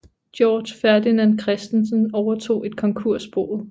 Georg Ferdinand Christensen overtog et konkursboet